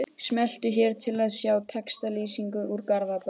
Smelltu hér til að sjá textalýsingu úr Garðabæ